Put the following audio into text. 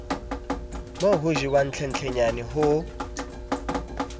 mo ho jewang hlenhlenyane ho